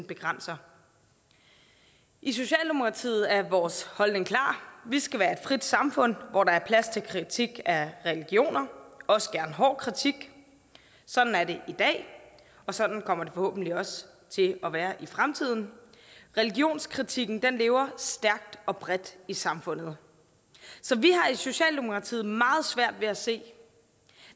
begrænser i socialdemokratiet er vores holdning klar vi skal være et frit samfund hvor der er plads til kritik af religioner også gerne hård kritik sådan er det i dag og sådan kommer det forhåbentlig også til at være i fremtiden religionskritikken lever stærkt og bredt i samfundet så vi har i socialdemokratiet meget svært ved at se